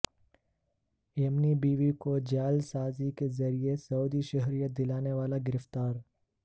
یمنی بیوی کو جعل سازی کے ذریعے سعودی شہریت دلانے والا گرفتار